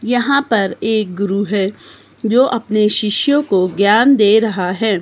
यहां पर एक गुरु है जो अपने शिष्यों को ज्ञान दे रहा है।